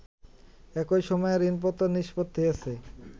একই সময়ে ঋণপত্র নিষ্পত্তি হয়েছে